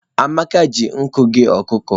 Amaka ji nkụ ghe ọkụkọ.